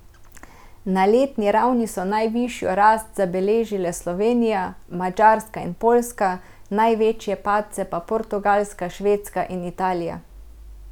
Ne letni ravni so najvišjo rast zabeležile Slovenija, Madžarska in Poljska, največje padce pa Portugalska, Švedska in Italija.